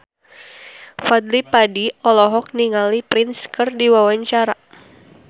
Fadly Padi olohok ningali Prince keur diwawancara